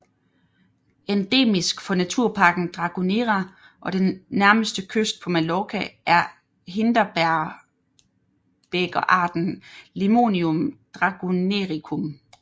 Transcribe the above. Endemisk for Naturparken Dragonera og den nærmeste kyst på Mallorca er Hindebægerarten Limonium dragonericum